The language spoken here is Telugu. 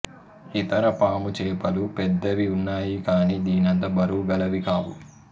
ఇతర పాముచేపలు పెద్దవి ఉన్నాయి కాని దీనంత బరువుగలవి కావు